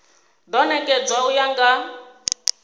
do nekedzwa u ya nga